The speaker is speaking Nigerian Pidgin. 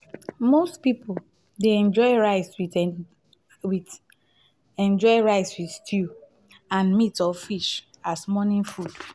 most pipo dey enjoy rice with enjoy rice with stew and meat or fish as morning food